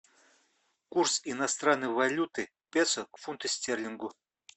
курс иностранной валюты песо к фунту стерлингу